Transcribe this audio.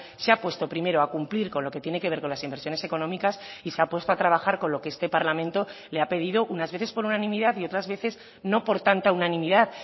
se ha puesto primero a cumplir con lo que tiene que ver con las inversiones económicas y se ha puesto a trabajar con lo que este parlamento le ha pedido unas veces por unanimidad y otras veces no por tanta unanimidad